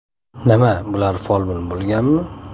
Nima, bular folbin bo‘lganmi?